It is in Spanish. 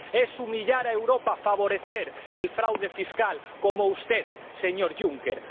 Es humillar a Europa favorecer el fraude fiscal, como usted, señor Juncker.